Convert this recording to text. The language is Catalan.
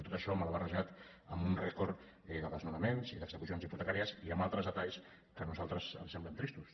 tot això mal barrejat amb un rècord de desnonaments i d’execucions hipotecàries i amb altres detalls que a nosaltres ens semblen tristos